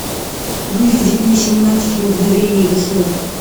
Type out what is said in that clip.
выведи мне семнадцать мгновений весны